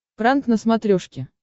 пранк на смотрешке